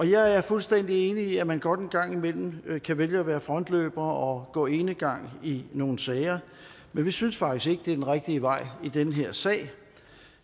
jeg er fuldstændig enig i at man godt en gang imellem kan vælge at være frontløber og gå enegang i nogle sager men vi synes faktisk ikke det er den rigtige vej i den her sag